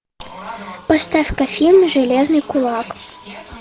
поставь ка фильм железный кулак